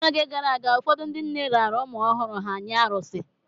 N’oge gara aga, ụfọdụ ndị nne raara ụmụ ọhụrụ ha nye arụsị